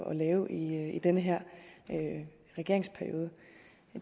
at lave i den her regeringsperiode